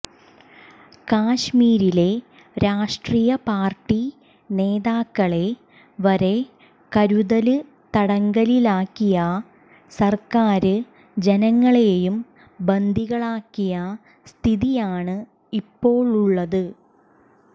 കശ്മീരില് രാഷ്ട്രിയ പാര്ട്ടി നേതാക്കളെ വരെ കരുതല് തടങ്കലിലാക്കിയ സര്ക്കാര് ജനങ്ങളെയും ബന്ദികളാക്കിയ സ്ഥിതിയാണ് ഇപ്പോഴുള്ളത്